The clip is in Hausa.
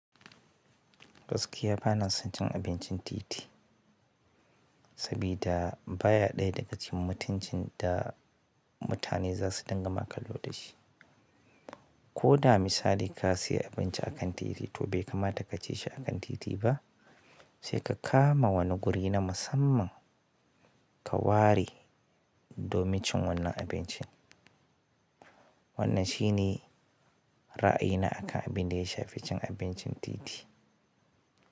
Gaskiya bana son cin abincin titi, sabida baya ɗaya daga cikin mutuncin da mutane za su din gama kallo da shi. Ko da misali ka sayi abinci a kan titi to bai kamata ka ci shi a kan titi ba, sai ka kama wani guri na musamman. Ka ware domin cin wannan abincin. Wannan shine ra'ayi na akan abin da ya shafi cin abincin titi.